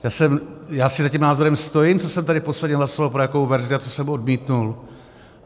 Já si za tím názorem stojím, co jsem tady posledně hlasoval, pro jakou verzi a co jsem odmítl.